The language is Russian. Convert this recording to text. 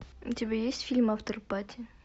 у тебя есть фильм афтерпати